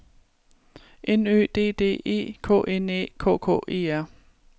N Ø D D E K N Æ K K E R